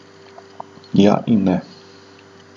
Ja in ne.